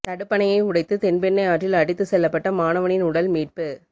தடுப்பணையை உடைத்து தென்பெண்ணை ஆற்றில் அடித்து செல்லப்பட்ட மாணவனின் உடல் மீட்பு